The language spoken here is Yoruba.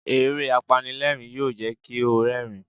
Eré apanilẹ́rìń yóò jẹ́ kí o rẹ́rìń.